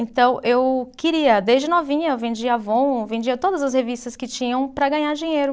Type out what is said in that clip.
Então eu queria, desde novinha eu vendia Avon, vendia todas as revistas que tinham para ganhar dinheiro.